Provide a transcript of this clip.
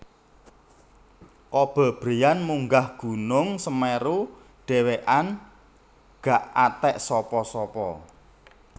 Kobe Bryant munggah gunung Semeru dhewekan gak atek sapa sapa